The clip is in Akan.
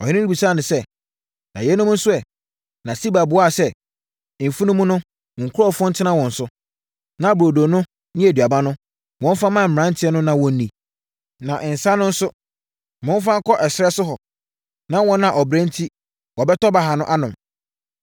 Ɔhene no bisaa Siba sɛ, “Na yeinom nso ɛ?” Na Siba buaa sɛ, “Mfunumu no, mo nkurɔfoɔ ntena wɔn so, na burodo no ne aduaba no, wɔmfa mma mmeranteɛ no na wɔnni. Na nsã no nso, momfa nkɔ ɛserɛ so hɔ, na wɔn a ɔbrɛ enti wɔbɛtɔ baha no, anom.”